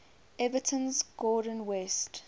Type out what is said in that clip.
everton's gordon west